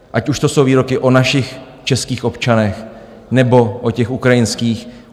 Ať už to jsou výroky o našich českých občanech, nebo o těch ukrajinských.